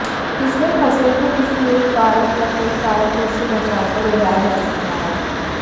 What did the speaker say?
इसमें फसल को किसी एक कारक या कई कारकों से बचाकर उगाया जा सकता है